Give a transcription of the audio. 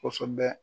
Kosɛbɛ